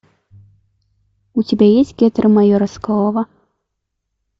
у тебя есть гетеры майора соколова